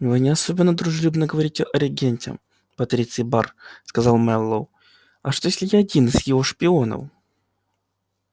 вы не особенно дружелюбно говорите о регенте патриций бар сказал мэллоу а что если я один из его шпионов